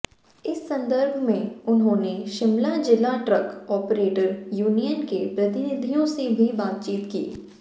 इस संदर्भ में उन्होंने शिमला जिला ट्रक ऑपरेटर यूनियन के प्रतिनिधियों से भी बातचीत की